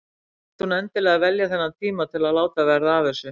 Svo þurfti hún endilega að velja þennan tíma til að láta verða af þessu.